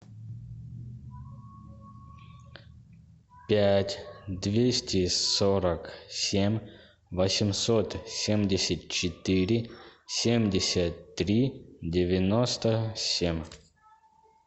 пять двести сорок семь восемьсот семьдесят четыре семьдесят три девяносто семь